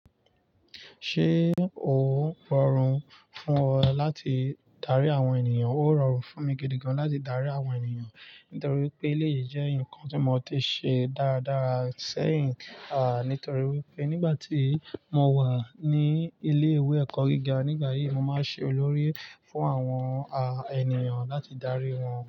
Ṣé ó rọrùn fún ọ láti darí àwọn ènìyàn? Ó rọrùn fún mi gidi gan láti darí àwọn ènìyàn, nítorí pé elèyii jẹ́ ǹkan tí mo ti ṣe dáradara sẹ́yìn, nítorí pé nígbà tí mo wà ní ilé ìwé ẹ̀kọ́ gíga nígbà yí, mo máa ń ṣe olórí fún àwọn ènìyàn láti darí wọn.